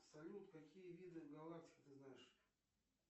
салют какие виды галактик ты знаешь